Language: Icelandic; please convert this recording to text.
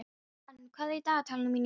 Ann, hvað er í dagatalinu mínu í dag?